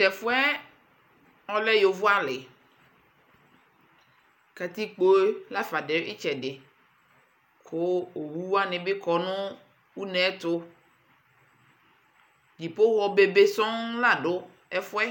Tʋ ɛfʋ yɛ, ɔlɛ yovoalɩ Katikpo yɛ la fa dʋ ɩtsɛdɩ kʋ owu wanɩ bɩ kɔ nʋ une yɛ ɛtʋ Dzipoxɔ bebe sɔ̃ la dʋ ɛfʋ yɛ